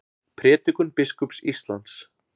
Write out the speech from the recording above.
Prédikun biskups Íslands